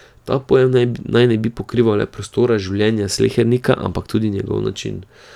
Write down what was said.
Ta pojem naj ne bi pokrival le prostora življenja slehernika, ampak tudi njegov način.